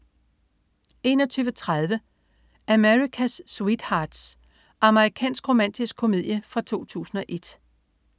21.30 America's Sweethearts. Amerikansk romantisk komedie fra 2001